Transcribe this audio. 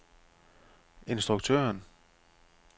instruktøren